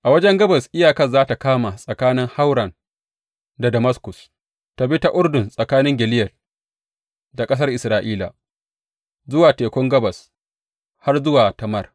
A wajen gabas iyakar za tă kama tsakanin Hauran da Damaskus, ta bi ta Urdun tsakanin Gileyad da ƙasar Isra’ila, zuwa tekun gabas har zuwa Tamar.